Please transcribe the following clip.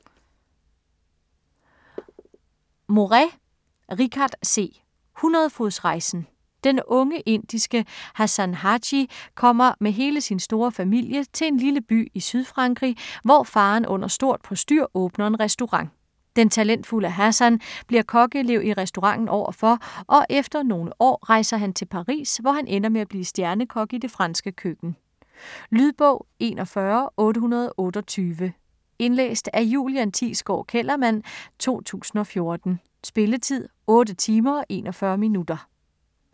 Morais, Richard C.: Hundredefodsrejsen Den unge indiske Hassan Haji kommer med hele sin store familie til en lille by i Sydfrankrig, hvor faderen under stort postyr åbner en restaurant. Den talentfulde Hassan bliver kokkeelev i restauranten overfor, og efter nogle år rejser han til Paris, hvor han ender med at blive stjernekok i det franske køkken. Lydbog 41828 Indlæst af Julian Thiesgaard Kellerman, 2014. Spilletid: 8 timer, 41 minutter.